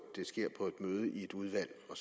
møde i et udvalg og